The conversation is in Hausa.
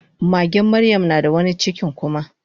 magen maryam nada wani cikin kuma